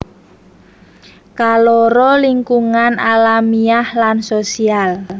Kaloro lingkungan alamiah lan sosial